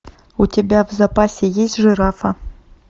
у тебя в запасе есть жирафа